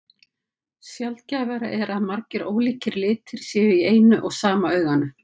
Sjaldgæfara er að margir ólíkir litir séu í eina og sama auganu.